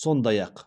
сондай ақ